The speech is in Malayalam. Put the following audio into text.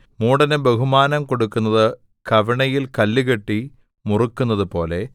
മൂഢന് ബഹുമാനം കൊടുക്കുന്നത് കവിണയിൽ കല്ലുകെട്ടി മുറുക്കുന്നതുപോലെ